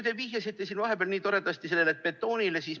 Te vihjasite vahepeal nii toredasti betoonile.